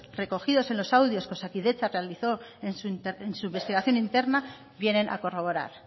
recogidos en los audios que osakidetza realizó en su investigación interna vienen a corroborar